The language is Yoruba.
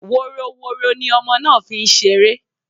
Woroworo ní ọmọ náà fí ń ṣeré